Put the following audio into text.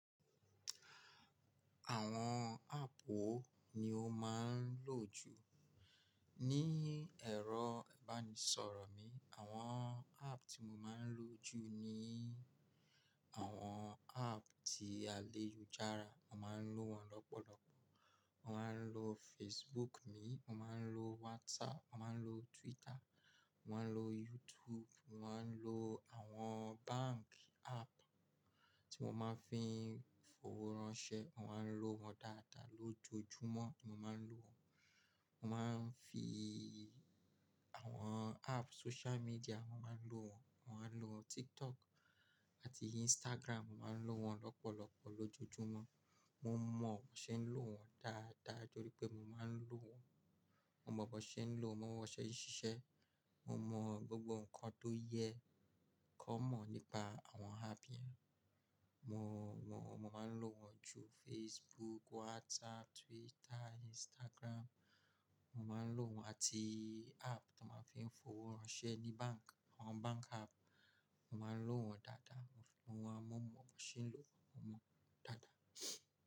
Àwọn áàpù wo ni o máa ń lò jù? Ní ẹ̀rọ ìbánisọ̀rọ̀ mi, àwọn áàpù tí mo máa ń lò jù ni àwọn áàpù ti àlejò ìjara. Mo máa ń lò wọ́n lọ́pọ̀lọpọ̀. Mo máa ń lò Facebook mi, mo máa ń lò WhatsApp, mo máa ń lò Twitter, mo máa ń lò YouTube, mo máa ń lò àwọn báǹkì áàpù tí mo máa ń fi fowó ránṣẹ́. Mo máa ń lò wọ́n dáadáa lójoojúmọ́ ni mo máa ń lò wọ́n. Mo máa ń fi àwọn áàpù social media, mo máa ń lò wọ́n. Mo máa ń lò TikTok àti Instagram, mo máa ń lò wọ́n lọ́pọ̀lọpọ̀ lójoojúmọ́. Mo mọ̀ bó ṣe ń lò wọ́n dáadáa torí pé mo máa ń lò wọ́n. Mo mọ̀ bó ṣe ń lò, mo mon bó ṣe ń ṣiṣẹ́. Mo mọ gbogbo nǹkan tó yẹ kón mọ̀ nípa àwọn áàpù yẹn. Mo mọ̀, mo máa ń lò wọ́n ju Facebook, WhatsApp, Twitter, Instagram. Mo máa ń lò wọ́n àti áàpù tí a máa ń fi ń fowó ránṣẹ́ ní báǹkì, àwọn báǹkì áàpù. Mo máa ń lò wọ́n dáadáa. Mo mọ̀ bó ṣe ń lò wọ́n, mo mọ̀ dáadáa.